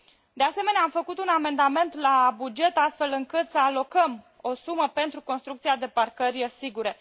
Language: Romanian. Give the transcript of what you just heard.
De asemenea, am făcut un amendament la buget astfel încât să alocam o sumă pentru construcția de parcări sigure.